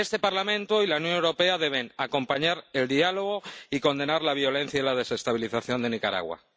Este Parlamento y la Unión Europea deben acompañar el diálogo y condenar la violencia y la desestabilización de Nicaragua.